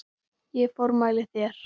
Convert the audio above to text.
Ég formæli þér